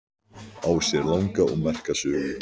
Á sér langa og merka sögu.